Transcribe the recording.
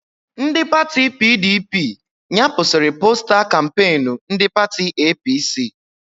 Ndị pati PDP nyapụsiri posta kampeenu ndị pati APC